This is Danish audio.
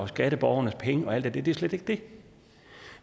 skatteborgernes penge og alt det det er slet ikke det